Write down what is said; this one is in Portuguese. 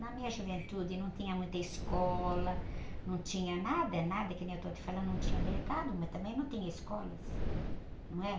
Na minha juventude não tinha muita escola, não tinha nada, nada que nem eu estou te falando, não tinha mercado, mas também não tinha escolas, não é?